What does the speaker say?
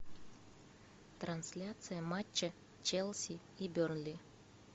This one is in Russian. трансляция матча челси и бернли